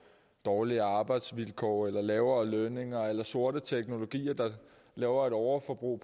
dårligere arbejdsvilkår eller lavere lønninger eller sorte teknologier der laver et overforbrug